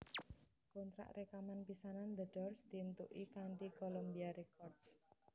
Kontrak rekaman pisanan The Doors dientuki kanthi Columbia Records